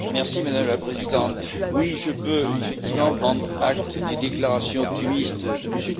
Madame la Présidente, oui, je peux effectivement prendre acte des déclarations optimistes de M.